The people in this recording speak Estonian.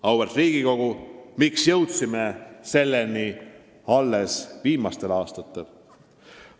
Auväärt Riigikogu, miks jõudsime selleni alles viimastel aastatel?